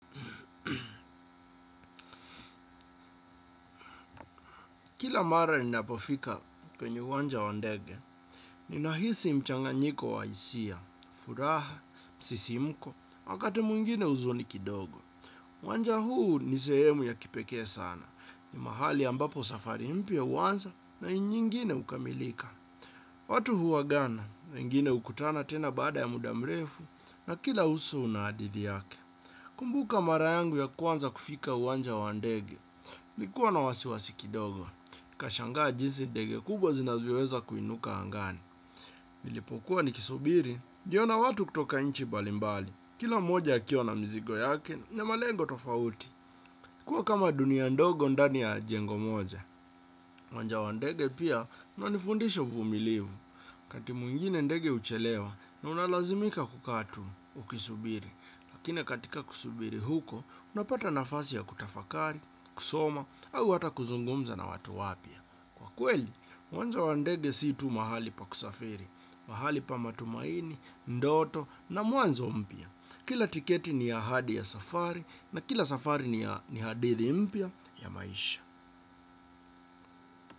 Kila mara ninapofika kwenye uwanja wa ndege, ninahisi mchanganyiko wa hisia, furaha, msisimuko, wakati mwingine huzuni kidogo. Uwanja huu ni sehemu ya kipekee sana, ni mahali ambapo safari mpya huanza na inyingine kukamilika. Watu huwagana na ingine ukutana tena baada ya muda mrefu na kila uso unaadithi yake. Kumbuka mara yangu ya kwanza kufika uwanja wa ndege, likuwa na wasiwasi kidogo. Nika shangaa jinsi ndege kubwa zinavyoweza kuinuka angani. Nilipokuwa nikisubiri, niliona watu kutoka inchi balimbali. Kila mmoja akiwa na mizigo yake ni malengo tofauti. Kua kama dunia ndogo ndani ya jengo moja. Uwanja wa ndege pia unanifundisha uvumilivu. Kati mwingine ndege uchelewa na unalazimika kukaa tu ukisubiri. Lakine katika kusubiri huko, unapata nafasi ya kutafakari, kusoma, au hata kuzungumza na watu wapya. Kwa kweli, uwanja wa ndege si tu mahali pa kusafiri, mahali pa matumaini, ndoto na mwanzo mpya. Kila tiketi ni ahadi ya safari na kila safari ni hadithi mpya ya maisha.